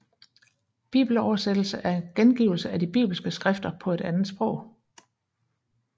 Bibeloversættelse er gengivelse af de bibelske skrifter på et andet sprog